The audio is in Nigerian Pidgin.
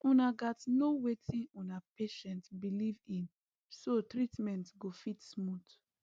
una gats know wetin una patient believe in so treatment go fit smooth